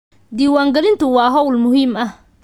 Diiwaangelintu waa hawl muhiim ah.